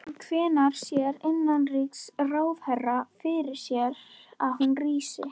En hvenær sér innanríkisráðherra fyrir sér að hún rísi?